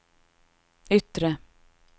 yttre